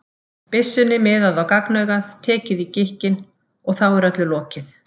byssunni miðað á gagnaugað, tekið í gikkinn, og þá er öllu lokið.